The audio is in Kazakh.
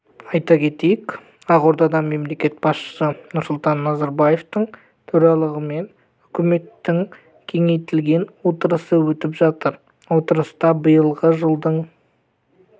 айта кетейік ақордада мемлекет басшысы нұрсұлтан назарбаевтың төрағалығымен үкіметтің кеңейтілген отырысы өтіп жатыр отырыста биылғы жылдың